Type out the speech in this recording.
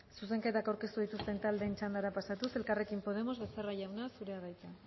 zuzenketak aurkeztu dituzten taldeen txandara pasatuz elkarrekin podemos becerra jauna zurea da hitza